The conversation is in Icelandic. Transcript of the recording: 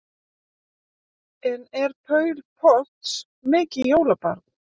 En er Paul Potts mikið jólabarn?